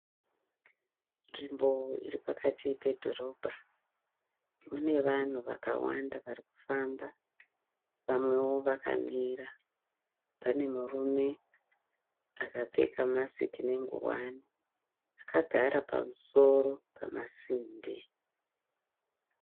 Nzvimbo iri pakati pedhorobha. Mune vanhu vakawanda varikufamba. Vamwewo vakamira. Pane murume akapfeka masiki nengowani. Akagara pamusoro pemasimbi.